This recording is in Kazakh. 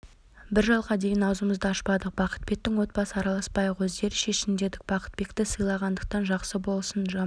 бір жылға дейін аузымызды ашпадық бақытбектің отбасы араласпайық өздері шешсін дедік бақытбекті сыйлағандықтан жақсы болсын жаман